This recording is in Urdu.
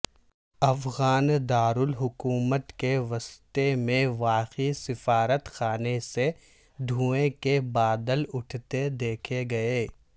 افغان دارالحکومت کے وسط میں واقع سفارت خانے سے دھوئیں کے بادل اٹھتے دیکھے گئے